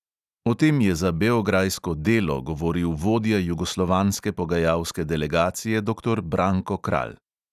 O tem je za beograjsko delo govoril vodja jugoslovanske pogajalske delegacije doktor branko kralj.